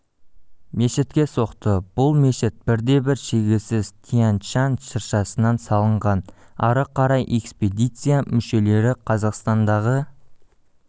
мешітке соқты бұл мешіт бірде бір шегесіз тянь-шань шыршасынан салынған ары қарай экспедиция мүшелері қазақстандағы